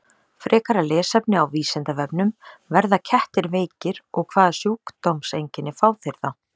Frekara lesefni á Vísindavefnum: Verða kettir veikir og hvaða sjúkdómseinkenni fá þeir þá?